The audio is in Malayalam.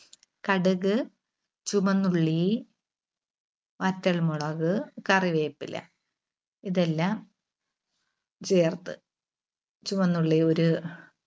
കടുക്, ചുവന്നുള്ളി, വറ്റൽമുളക്, കറിവേപ്പില ഇതെല്ലാം ചേർത്ത്. ചുവന്നുള്ളി ഒരു